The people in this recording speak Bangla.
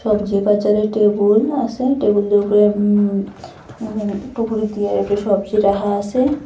সবজি বাজারে টেবুল আসে টেবুলের উপরে উম উম টুকুরি দিয়া ওপরে সবজি রাখা আসে।